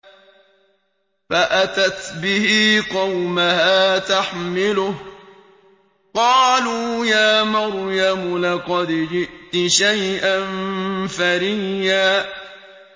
فَأَتَتْ بِهِ قَوْمَهَا تَحْمِلُهُ ۖ قَالُوا يَا مَرْيَمُ لَقَدْ جِئْتِ شَيْئًا فَرِيًّا